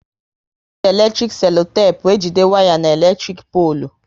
E ji eletrik selotepu ejide waya n'elektrik polu